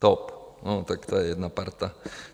TOP, no tak to je jedna parta.